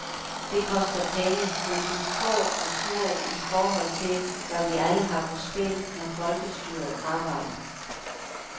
Det koster penge, men de er få og små i forhold til, hvad vi alle har på spil, når folkestyret arbejder.